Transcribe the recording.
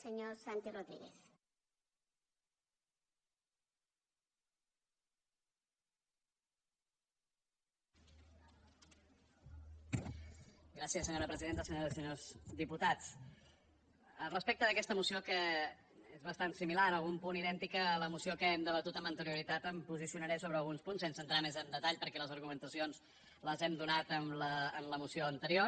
senyores i senyors diputats respecte d’aquesta moció que és bastant similar en algun punt idèntica a la moció que hem debatut amb anterioritat em posicionaré sobre alguns punts sense entrar més en detall perquè les argumentacions les hem donat en la moció anterior